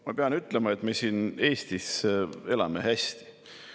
Ma pean ütlema, et me siin Eestis elame hästi.